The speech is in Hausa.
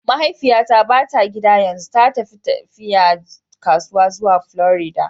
Mahaifiyata ba ta gida yanzu, ta tafi tafiya kasuwanci zuwa Florida.